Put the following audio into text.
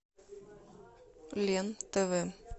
лен тв